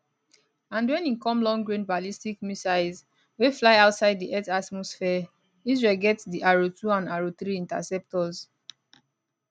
and wen e come longrange ballistic missiles wey fly outside di earth atmosphere israel get di arrow 2 and arrow 3 interceptors